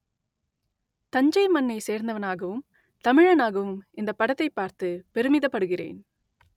தஞ்சை மண்ணை சேர்ந்தவனாகவும் தமிழனாகவும் இந்தப் படத்தைப் பார்த்து பெருமிதப்படுகிறேன்